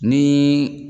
Ni